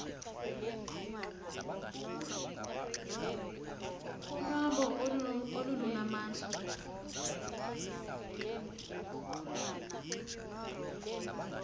unwabu olu lunamandla